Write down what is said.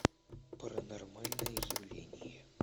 паранормальное явление